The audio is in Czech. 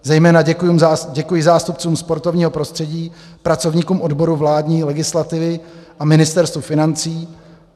Zejména děkuji zástupcům sportovního prostředí, pracovníkům odboru vládní legislativy a Ministerstvu financí.